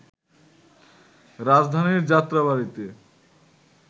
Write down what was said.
রাজধানীর যাত্রাবাড়ীতে